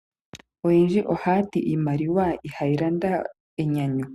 Aantu oyendji oha yati iimaliwa ihayi landa enyanyu